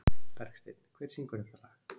Bergsteinn, hver syngur þetta lag?